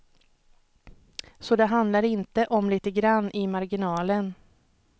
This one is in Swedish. Så det handlar inte om lite grand i marginalen.